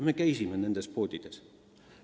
Me käisime nendes poodides.